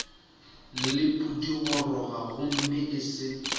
le pudigoroga gomme e se